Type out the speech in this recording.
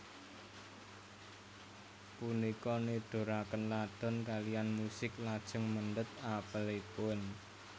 Punika niduraken Ladon kaliyan musik lajeng mendhet apelipun